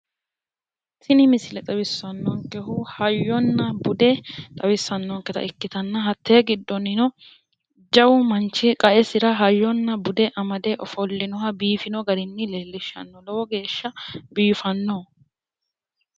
tini misile xawissannonkehu hayyonna bude xawissannonkeha ikkanna hattee giddonnino jawu manchi qaesira hayyonna bude amade ofollinoha leellishshanno lowo geeshsha biifannoho.